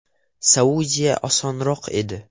Saudiya osonroq edi.